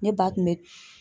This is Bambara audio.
Ne ba tun be